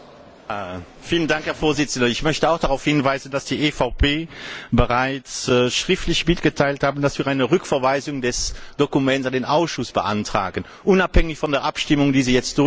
Herr Präsident! Ich möchte auch darauf hinweisen, dass die EVP bereits schriftlich mitgeteilt hat, dass wir eine Rücküberweisung des Dokuments an den Ausschuss beantragen, unabhängig von der Abstimmung, die Sie jetzt durchziehen möchten oder nicht.